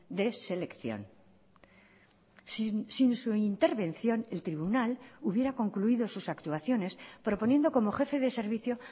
de selección sin su intervención el tribunal hubiera concluido sus actuaciones proponiendo como jefe de servicio